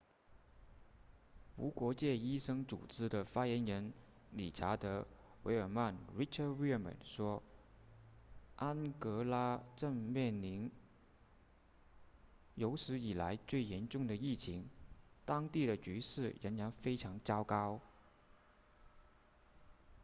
无国界医生组织的发言人理查德维尔曼 richard veerman 说安哥拉正面临有史以来最严重的疫情当地的局势仍然非常糟糕